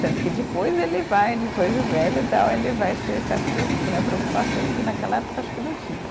Tanto que depois ele vai, depois de velho e tal, ele vai ter certas né, preocupações que naquela época acho que não tinha.